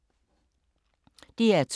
DR2